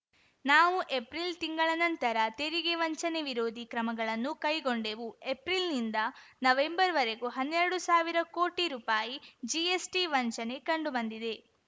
ನಾವು ಏಪ್ರಿಲ್‌ ತಿಂಗಳ ನಂತರ ತೆರಿಗೆ ವಂಚನೆ ವಿರೋಧಿ ಕ್ರಮಗಳನ್ನು ಕೈಗೊಂಡೆವು ಏಪ್ರಿಲ್‌ನಿಂದ ನವೆಂಬರ್‌ವರೆಗೂ ಹನ್ನೆರಡು ಸಾವಿರ ಕೋಟಿ ರೂಪಾಯಿ ಜಿಎಸ್‌ಟಿ ವಂಚನೆ ಕಂಡುಬಂದಿದೆ